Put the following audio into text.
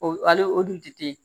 O ale o dun tɛ yen